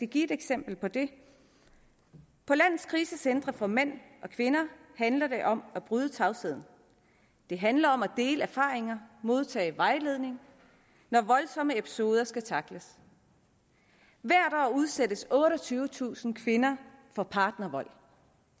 give et eksempel på det på landets krisecentre for mænd og kvinder handler det om at bryde tavsheden det handler om at dele erfaringer og modtage vejledning når voldsomme episoder skal tackles hvert år udsættes otteogtyvetusind kvinder for partnervold